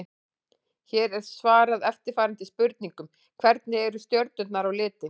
Hér er svarað eftirfarandi spurningum: Hvernig eru stjörnur á litinn?